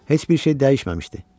Heç bir şey dəyişməmişdi.